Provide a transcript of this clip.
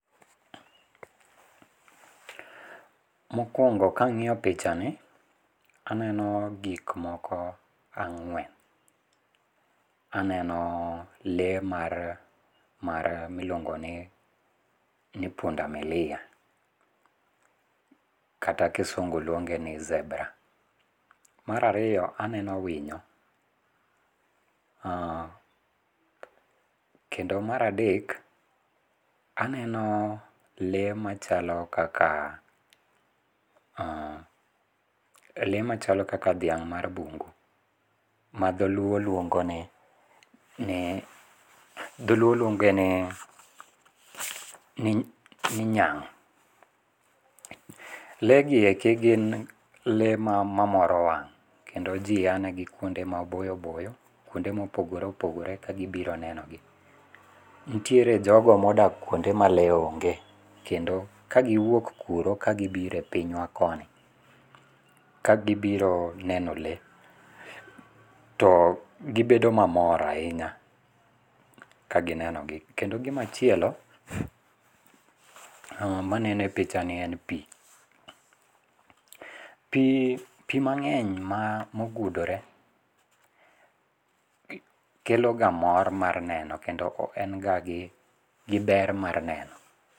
Mokuongo ka ang'iyo pichani, aneno gik moko ang'wen, aneno lee mar mar miluongo ni punda milia kata kisungu luonge ni zebra. Mar ariyo aneno winyo, kendo mar adek aneno lee machalokaka lee machalo kaka dhiang' mar bung'u ma dholuo luong'e ni dholuo luong'e ni ni nyang', lee gi eki gin lee mamora wang' kendo ji yanegi kuonde maboyo boyo, kuonde ma opogore opogore kagibiro nenogi, nitiere jogo ma odak kuonde ma lee ong'e, kendo ka giwuok kuro ka gibiro e pinywa koni ka gibiro neno le to gibedo mamor ahinya kaginenogi. Kendo gimachielo maneno e pichanie en pi, pi mang'eny ma ogudore keloga mor mar neno kendo en ga gi ber mar neno.